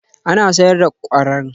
Ana sayar da kwararan fitila a sashin lantarki